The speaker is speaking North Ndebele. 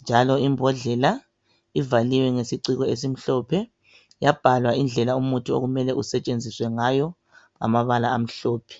njalo imbodlela ivaliwe ngesiciko esimhlophe yabhalwa indlela umuthi okumele usetshenziswe ngayo ngamabala amhlophe